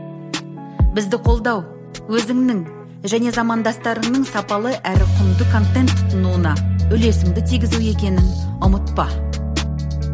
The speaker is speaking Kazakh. бізді қолдау өзіңнің және замандастарыңның сапалы әрі құнды контент тұтынуына үлесіңді тигізу екенін ұмытпа